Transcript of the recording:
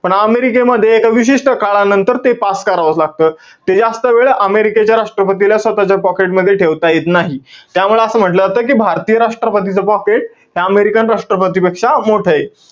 पण अमेरिकेमध्ये, विशिष्ट काळानंतर, ते pass करावंच लागतं. ते जास्त वेळ अमेरिकेच्या राष्ट्रपतीला स्वतःच्या pocket मध्ये ठेवता येत नाही. त्यामुळे असं म्हंटल जातं कि, भारतीय राष्ट्र्पतीचं pocket हे american राष्ट्रपतीपेक्षा मोठंय.